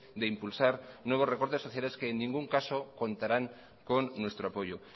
de impulsar nuevos recortes sociales que en ningún caso contarán con nuestro apoyo